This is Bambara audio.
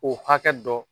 O hakɛ dɔ